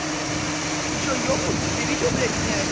ты что ёбнулся тебе видео блядь снять